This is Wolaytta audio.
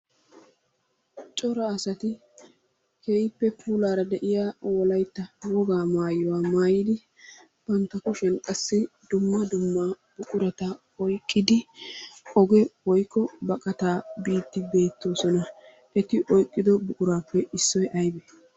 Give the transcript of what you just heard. Cora asati keehippe puulaara de'iya wolaytta wogaa maayuwa maayidi bantta kushiyan qassi dumma dumma buqurata oyqqidi oge woykko baqataa biiddi beettoosona. Eti oyqqido buquraappe issoy aybee?